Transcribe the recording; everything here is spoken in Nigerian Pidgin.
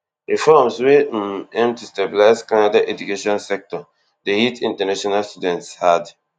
reforms wey um aim to stabilise canada education sector dey hit international students hard